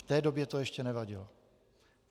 V té době to ještě nevadilo.